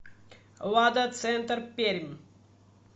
лада центр пермь